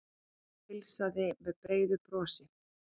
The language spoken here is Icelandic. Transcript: Heilsaði með breiðu brosi.